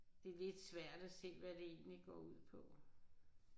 Det er lidt svært at se hvad det egentlig går ud på